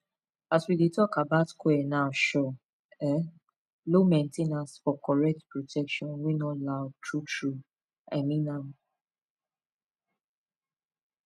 as we dey talk about coil na sure um low main ten ance for correct protection wey no loud true true i mean am